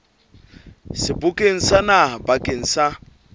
sebokeng sa naha bakeng sa